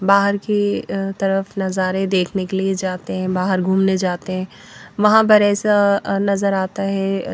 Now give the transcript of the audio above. बाहर की तरफ नज़ारे देखने के लिए जाते हैं बाहर घूमने जाते हैं वहाँ पर ऐसा नज़र आता है।